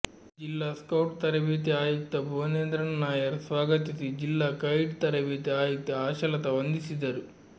ಜಿಲ್ಲಾ ಸ್ಕೌಟ್ ತರಬೇತಿ ಆಯುಕ್ತ ಭುವನೇಂದ್ರನ್ ನಾಯರ್ ಸ್ವಾಗತಿಸಿ ಜಿಲ್ಲಾ ಗೈಡ್ ತರಬೇತಿ ಆಯುಕ್ತೆ ಆಶಾಲತ ವಂದಿಸಿದರು